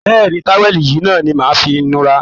Bẹ́ẹ̀́ ni, táwẹ̀lì yìí náà ni màá fi nura